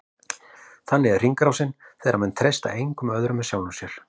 Þannig er hringrásin, þegar menn treysta engum öðrum en sjálfum sér.